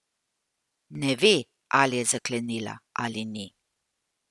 Ne ve, ali je zaklenila ali ni.